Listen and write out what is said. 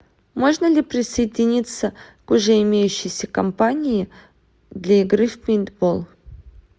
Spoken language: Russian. можно ли присоединиться к уже имеющейся компании для игры в пейнтбол